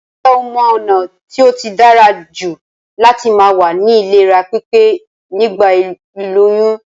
Njé o mo ònà t tóí dárajù láti ma wà ní ìlera pípé nígbà ìlóyún?